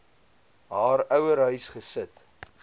haar ouerhuis gesit